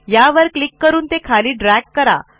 यावर क्लिक करून ते खाली ड्रॅग करा